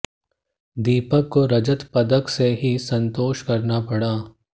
दीपक को रजत पदक से ही संतोष करना पड़ा